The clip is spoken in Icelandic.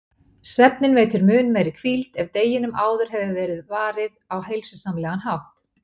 Svefninn veitir mun meiri hvíld ef deginum áður hefur verið varið á heilsusamlegan hátt.